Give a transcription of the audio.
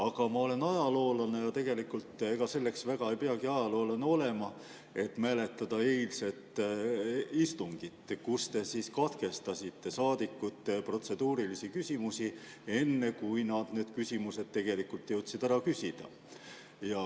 Aga ma olen ajaloolane, kuid ega selleks ei peagi ajaloolane olema, et mäletada eilset istungit, kus te katkestasite saadikute protseduurilisi küsimusi, enne kui nad need küsimused tegelikult jõudsid ära küsida.